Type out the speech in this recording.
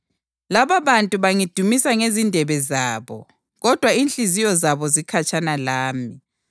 ‘Lababantu bangidumisa ngezindebe zabo, kodwa inhliziyo zabo zikhatshana lami.